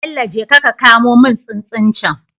Bello jeka ka kamo mun tsuntsun cen